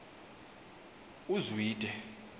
uzwide